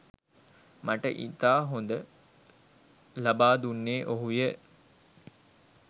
මට ඉතා හොඳ ලබා දුන්නේ ඔහුය